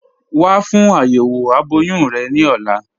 Wà fún ayéwo abọ̀yún rẹ ni ọ̀là.